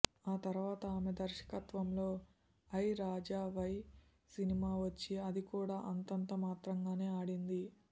ఆ తర్వాత ఆమె దర్శకత్వంలో ఐ రాజా వై సినిమా వచ్చి అది కూడా అంతంత మాత్రంగానే ఆడింది